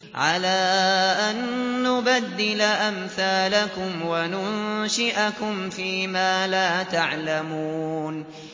عَلَىٰ أَن نُّبَدِّلَ أَمْثَالَكُمْ وَنُنشِئَكُمْ فِي مَا لَا تَعْلَمُونَ